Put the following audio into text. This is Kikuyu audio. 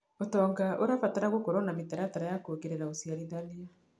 ũtonga ũrabatara gũkorwo na mĩtaratara ya kuongerera ũciarithania.